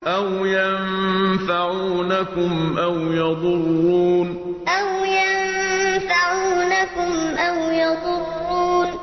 أَوْ يَنفَعُونَكُمْ أَوْ يَضُرُّونَ أَوْ يَنفَعُونَكُمْ أَوْ يَضُرُّونَ